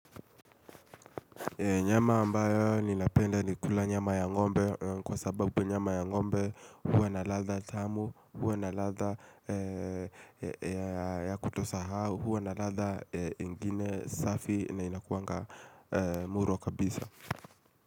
Nyama ambayo ninapenda ni kula nyama ya ng'ombe kwa sababu nyama ya ng'ombe huwa na ladha tamu, huwa na ladha ya kutosahau, huwa na ladha ingine safi na inakuanga muro kabisa.